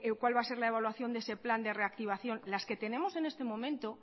cuál va a ser la evaluación de ese plan de reactivación las que tenemos en este momento